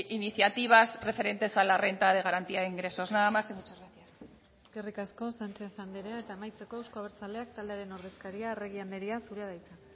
iniciativas referentes a la renta de garantía de ingresos nada más y muchas gracias eskerrik asko sánchez andrea eta amaitzeko euzko abertzaleak taldearen ordezkaria arregi andrea zurea da hitza